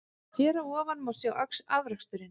Hér að ofan má sjá afraksturinn.